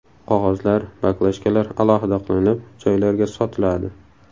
Qog‘ozlar, baklajkalar alohida qilinib, joylarga sotiladi.